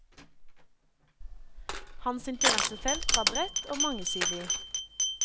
Hans interessefelt var bredt og mangesidig.